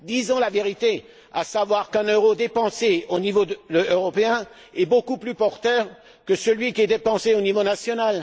Disons la vérité à savoir qu'un euro dépensé au niveau européen est beaucoup plus porteur que celui dépensé au niveau national.